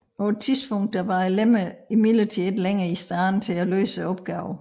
På et tidspunkt var lemmerne imidlertid ikke længere i stand til at løse opgaven